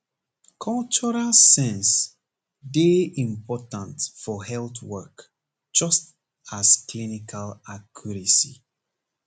cultural sense dey important for health work just as clinical accuracy